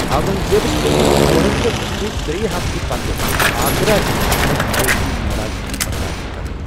اورنگ زیبس پیٚیہِ فورن نہٕ بلكہِ ترٛیٚیہِ ہفتہٕ پتہٕ آگرا یِنہٕ باپتھ مٲلۍ سٕنز ناراضگی برداشت كرٕنۍ۔